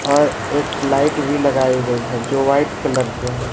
और एक लाइट भी लगाई गई है जो व्हाइट कलर के है।